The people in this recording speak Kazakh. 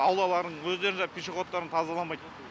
аулаларын өздерінің жаңағы пешеходтарын тазаламайды